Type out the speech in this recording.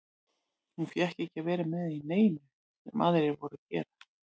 Hún fékk ekki að vera með í neinu sem aðrir voru að gera.